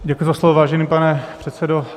Děkuji za slovo, vážený pane předsedo.